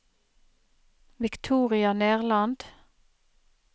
Victoria Nerland